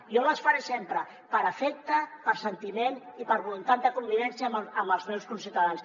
jo les hi faré sempre per afecte per sentiment i per voluntat de convivència amb els meus conciutadans